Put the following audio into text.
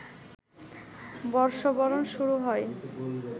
বর্ষবরণ শুরু হয়